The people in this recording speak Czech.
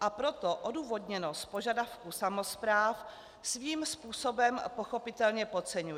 a proto odůvodněnost požadavku samospráv svým způsobem pochopitelně podceňuje.